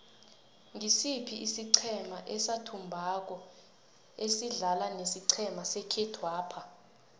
ngisiphi isiqhema esathumbako asidlala nesiqhema sekhethwapha